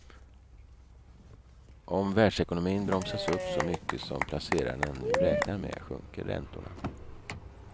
Om världsekonomin bromsas upp så mycket som placerarna nu räknar med sjunker räntorna.